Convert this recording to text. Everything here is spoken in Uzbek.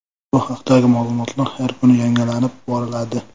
Bu haqdagi ma’lumotlar har kuni yangilanib boriladi.